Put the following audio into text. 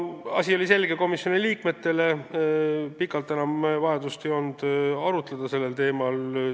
Asi oli komisjoni liikmetele selge, ei olnud enam vajadust pikalt sellel teemal arutleda.